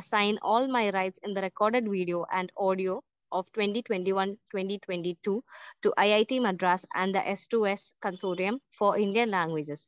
Speaker 1 assign all my rights in the record video and audio of 2021-2022 to I I T Madras and the S2S consortium for Indian languages.